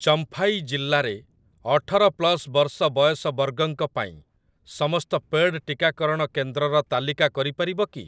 ଚମ୍ଫାଇ ଜିଲ୍ଲାରେ ଅଠର ପ୍ଲସ୍ ବର୍ଷ ବୟସ ବର୍ଗଙ୍କ ପାଇଁ ସମସ୍ତ ପେଡ଼୍ ଟିକାକରଣ କେନ୍ଦ୍ରର ତାଲିକା କରିପାରିବ କି?